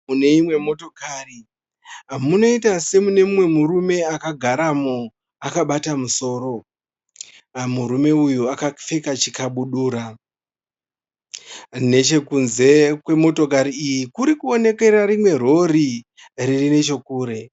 Mune imwe motokari, munoita semune mumwe murume akagaramo akabata musoro. Murume uyu akapfeka chikabudura. Nechekunze kwemotokari iyi kurikuonekera rimwe rori riri nechekure.